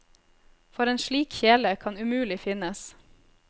For en slik kjele kan umulig finnes.